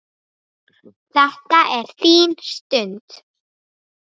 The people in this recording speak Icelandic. Þetta er þín stund.